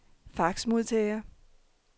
faxmodtager